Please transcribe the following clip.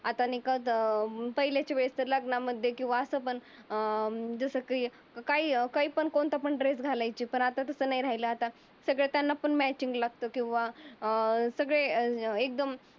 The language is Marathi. आता नाही का? त अं पहिलीच्या लग्नामध्ये कीव्हा अस पण अं म्हणजे सगळी काही काही पण कोणता पण ड्रेस घालायची. पण आता तसं नाही राहिलं. आता त्यांना पण फॅशन लागतो किंवा अं सगळे एकदम